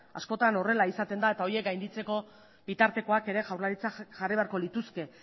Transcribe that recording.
askotan horrela izaten da eta horiek gainditzeko bitartekoak ere jaurlaritzak jarri beharko lituzke